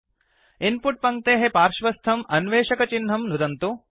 in put पङ्क्तेः पार्श्वस्थं अन्वेषकचिह्नंचेक् नुदन्तु